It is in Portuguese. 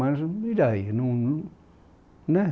Mas e daí? Não não, né